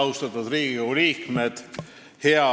Austatud Riigikogu liikmed!